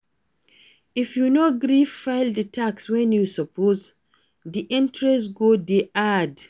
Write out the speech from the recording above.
If you no gree file di tax when you suppose, di interest go dey add